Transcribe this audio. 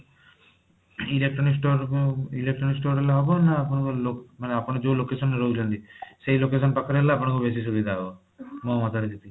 electronic storeକୁ electronic store ଗଲେ ହେବ ନା ଆପଣଙ୍କ ଆପଣ ଯୋଊ location ରେ ରହୁଛନ୍ତି ସେଇ location ପାଖରେ ହେଲେ ଆପଣଙ୍କୁ ବେଶୀ ସୁବିଧା ହେବ ମୋ ମତରେ ଯେତିକି